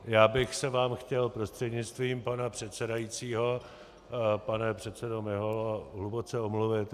Já bych se vám chtěl prostřednictvím pana předsedajícího, pane předsedo Miholo, hluboce omluvit.